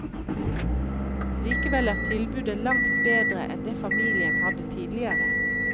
Likevel er tilbudet langt bedre enn det familien hadde tidligere.